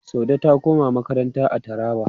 Saude ta koma makaranta a Taraba.